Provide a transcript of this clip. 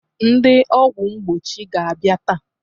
Ndị ọgwụ mgbochi ga-abịa taa.